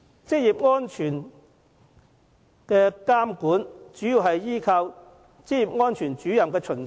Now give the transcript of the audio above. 職業安全的監管主要依賴職業安全主任的巡查。